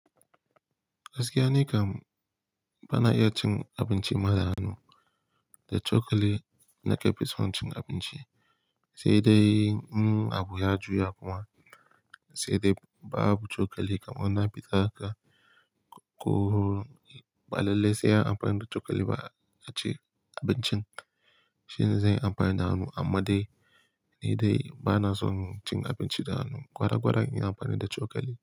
Gaskiya nikam, bana iya cin abinci mada hannu da cokali na kefison cin abinci, sai dai in abu ya juya kuma sai dai babu cokali kamar na fi ta haka ko balalle sai an amfani da cokali ba a ci abincin shine zan yi amfani da hannu amma dai ni dai bana son cin abinci da hannu gwara gwara in yi amfani da cokali.